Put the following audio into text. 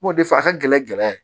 N b'o de fɔ a ka gɛlɛ gɛlɛya ye